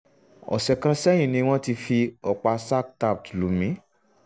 ọ̀sẹ̀ kan sẹ́yìn ni wọ́n ti fi ọ̀pá "sac tapped" lù mí